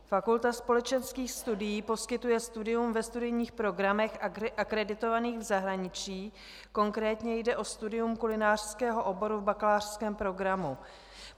Fakulta společenských studií poskytuje studium ve studijních programech akreditovaných v zahraničí, konkrétně jde o studium kulinářského oboru v bakalářském programu.